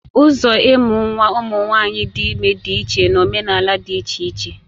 Ụzọ ịmụ nwa ụmụ nwanyị dị ime dị iche na omenala dị iche iche